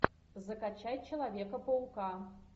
закачай человека паука